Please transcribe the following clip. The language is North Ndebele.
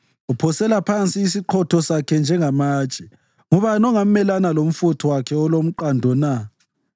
Uphosela phansi isiqhotho sakhe njengamatshe. Ngubani ongamelana lomfutho wakhe olomqando na?